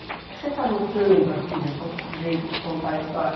O que você está notando aqui desse outro jeito de contar a história?